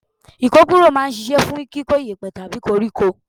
Ikokuro máa ń ṣíṣe fún kíkó iyepe tàbí koríko.